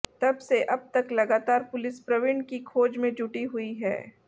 तब से अब तक लगातार पुलिस प्रवीण की खोज में जुटी हुई है